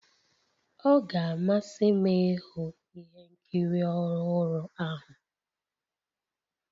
Ọ ga-amasị m ịhụ ihe nkiri ọhụrụ ahụ